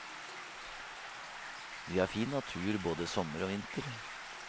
Vi har fin natur både sommer og vinter.